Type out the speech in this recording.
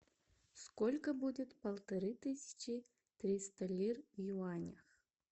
сколько будет полторы тысячи триста лир в юанях